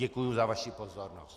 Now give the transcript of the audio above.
Děkuju za vaši pozornost.